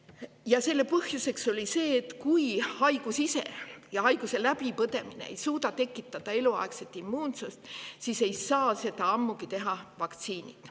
Ja selle põhjus oli see, et kui haigus ise ja haiguse läbipõdemine ei suuda tekitada eluaegset immuunsust, siis ei saa seda ammugi teha vaktsiinid.